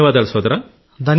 ధన్యవాదాలు సోదరా